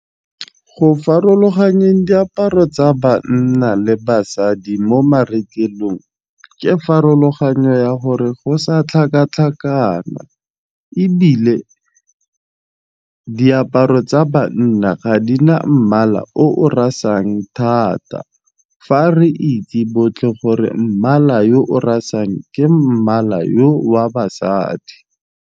Go farologanyeng diaparo tsa banna le basadi mo marekelong ke farologanyo ya gore go sa tlhakatlhakana ebile diaparo tsa banna ga di na mmala o o rasang thata fa re itse botlhe gore mmala yo o rarang ke mmala yo wa basadi.